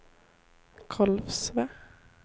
Kolsva